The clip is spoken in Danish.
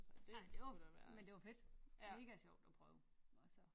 Ej det men det var fedt mega sjovt at prøve altså